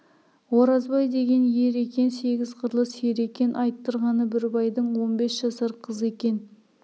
оразбай деген ер екен сегіз қырлы сері екен айттырғаны бір байдың он бес жасар қызы екен